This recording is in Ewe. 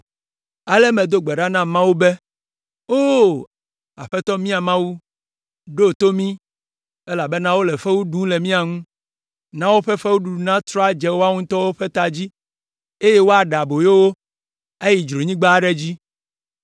Ale medo gbe ɖa na Mawu be, “Oo, Aƒetɔ mía Mawu, ɖo to mí, elabena wole fewu ɖum le mía ŋu. Na woƒe fewuɖuɖu natrɔ adze woawo ŋutɔ ƒe ta dzi, eye woaɖe aboyo wo ayi dzronyigba aɖe dzi.